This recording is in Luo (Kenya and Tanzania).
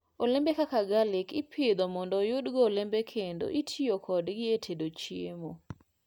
Olembe kaka garlic ipidho mondo oyudgo olembe kendo itiyo kodgi e tedo chiemo.